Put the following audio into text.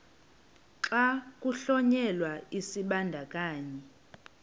xa kuhlonyelwa isibandakanyi